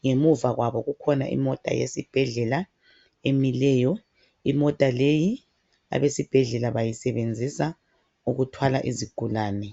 ngemuva kwabo kukhona imota yesibhedlela emileyo. Imota leyi abesibhedlela bayisebenzisa ukuthwala izigulane.